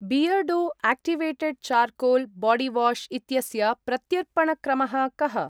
Beardo activated charcoal body wash इत्यस्य प्रत्यर्पणक्रमः कः?